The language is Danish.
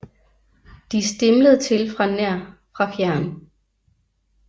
De stimlede til fra nær fra fjern